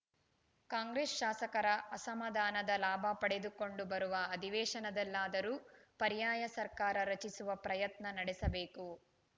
ಕಾಂಗ್ರೆಸ್‌ ಶಾಸಕರ ಅಸಮಾಧಾನದ ಲಾಭ ಪಡೆದುಕೊಂಡು ಬರುವ ಅಧಿವೇಶನದಲ್ಲಾದರೂ ಪರ್ಯಾಯ ಸರ್ಕಾರ ರಚಿಸುವ ಪ್ರಯತ್ನ ನಡೆಸಬೇಕು